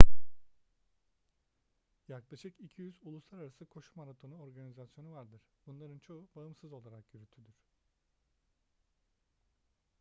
yaklaşık 200 uluslararası koşu maratonu organizasyonu vardır bunların çoğu bağımsız olarak yürütülür